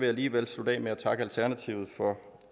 alligevel slutte af med at takke alternativet for